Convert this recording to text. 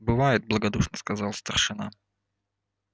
бывает благодушно сказал старшина